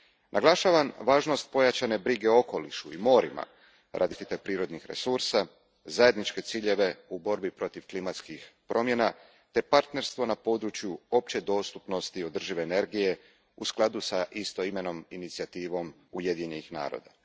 Naglašavam važnost pojačane brige o okolišu i morima radi zaštite prirodnih resursa, zajedničke ciljeve u borbi protiv klimatskih promjena te partnerstvo na području opće dostupnosti održive energije u skladu s istoimenom inicijativom Ujedinjenih naroda.